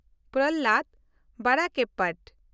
ᱯᱨᱚᱞᱦᱟᱫᱽ ᱵᱟᱰᱠᱠᱚᱯᱚᱴ